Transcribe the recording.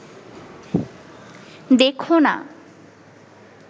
দেখো না